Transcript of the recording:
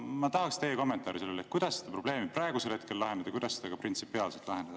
Ma tahaksin teie kommentaari sellele, kuidas te selle probleemi praegu lahendate ja kuidas seda printsipiaalselt tuleks lahendada.